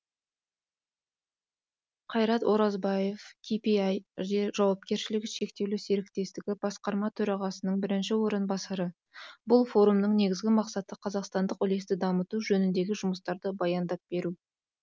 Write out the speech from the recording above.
қайрат оразбаев крі жшс басқарма төрағасының бірінші орынбасары бұл форумның негізгі мақсаты қазақстандық үлесті дамыту жөніндегі жұмыстарды баяндап беру